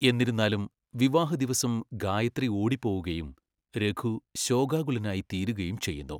എന്നിരുന്നാലും, വിവാഹദിവസം ഗായത്രി ഓടിപ്പോകുകയും രഘു ശോകാകുലനായി തീരുകയും ചെയ്യുന്നു.